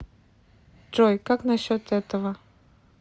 джой как на счет этого